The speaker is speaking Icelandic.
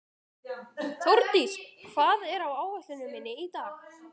Þórdís, hvað er á áætluninni minni í dag?